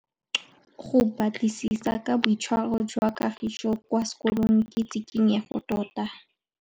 Go batlisisa ka boitshwaro jwa Kagiso kwa sekolong ke tshikinyêgô tota.